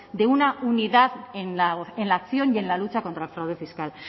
de una unidad en la acción y en la lucha contra el fraude fiscal